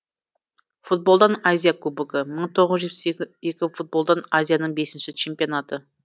футболдан азия кубогы мың тоғыз жүз жетпіс екі футболдан азияның бесінші чемпионаты